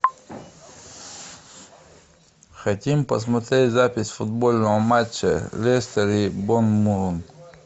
хотим посмотреть запись футбольного матча лестер и борнмут